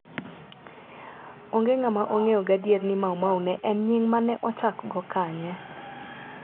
Onge ng'ama ong'eyo gadier ni Maumau ne en nying' ma ne ochakgo kanye.